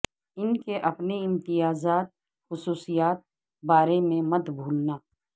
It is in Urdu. ان کے اپنے امتیازات وخصوصیات بارے میں مت بھولنا